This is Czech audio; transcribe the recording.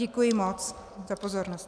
Děkuji moc za pozornost.